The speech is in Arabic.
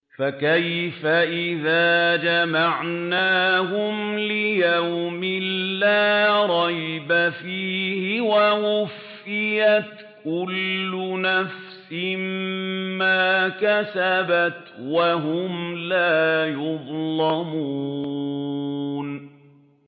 فَكَيْفَ إِذَا جَمَعْنَاهُمْ لِيَوْمٍ لَّا رَيْبَ فِيهِ وَوُفِّيَتْ كُلُّ نَفْسٍ مَّا كَسَبَتْ وَهُمْ لَا يُظْلَمُونَ